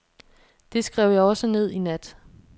Det skrev jeg også ned i nat.